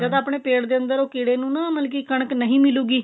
ਜਦੋਂ ਆਪਣੇ ਪੇਟ ਦੇ ਅੰਦਰ ਉਹ ਕੀੜੇ ਨੂੰ ਨਾ ਮਤਲਬ ਕੀ ਕਣਕ ਨਹੀਂ ਮਿਲੂਗੀ